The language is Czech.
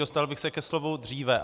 Dostal bych se ke slovu dříve.